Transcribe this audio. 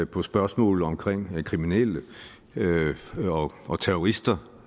på spørgsmålet om kriminelle kriminelle og terrorister